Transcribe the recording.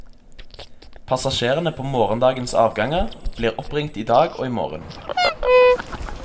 Passasjerene på morgendagens avganger blir oppringt i dag og i morgen.